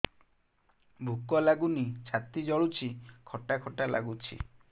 ଭୁକ ଲାଗୁନି ଛାତି ଜଳୁଛି ଖଟା ଖଟା ଲାଗୁଛି